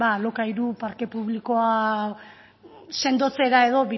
alokairu parke publikoa sendotzera edo